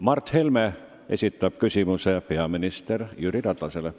Mart Helme esitab küsimuse peaminister Jüri Ratasele.